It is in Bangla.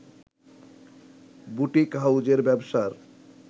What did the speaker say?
বুটিক হাউসের ব্যবসার